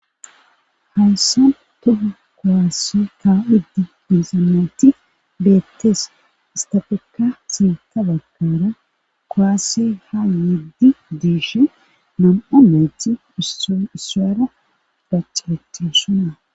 haynsan toha kowaasse ka'ishe diyaysat beettees istafeka siita bakara kowasse haa nyeddi diish nam7u menthi isa isuwaara dactishe dosona